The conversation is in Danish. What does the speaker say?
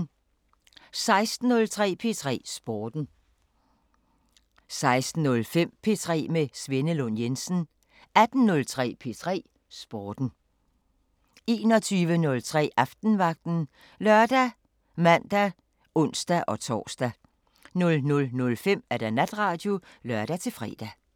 16:03: P3 Sporten 16:05: P3 med Svenne Lund Jensen 18:03: P3 Sporten 18:05: P3 med Christoffer Stenbakken 21:03: Aftenvagten ( lør, man, ons-tor) 00:05: Natradio (lør-fre)